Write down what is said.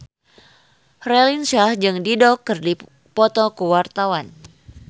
Raline Shah jeung Dido keur dipoto ku wartawan